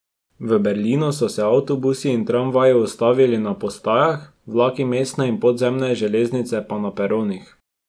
V Berlinu so se avtobusi in tramvaji ustavili na postajah, vlaki mestne in podzemne železnice pa na peronih.